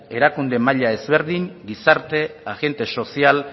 erakunde maila ezberdin gizarte agente sozial